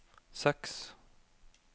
seks